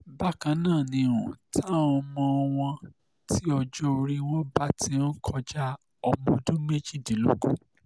bákan náà ni um tàwọn ọmọ wọn tí ọjọ́ orí wọn bá ti um kọjá ọmọọdún méjìdínlógún